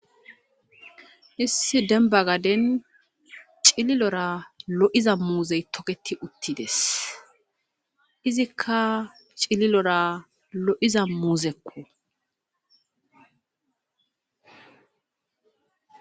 issi denba gaden cililora lo7iza muuzey toketi uttides izikka cililora lo7iza muuzekko